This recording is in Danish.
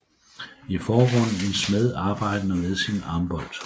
I forgrunden en smed arbejdende ved sin ambolt